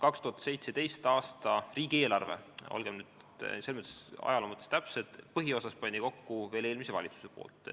2017. aasta riigieelarve – olgem nüüd ajaloo mõttes täpsed – pani põhiosas kokku veel eelmine valitsus.